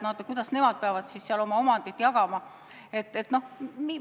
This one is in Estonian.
Kuidas nad peavad omandit jagama?